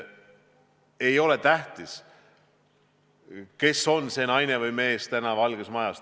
Ei ole tähtis, kes on see naine või mees täna Valges Majas.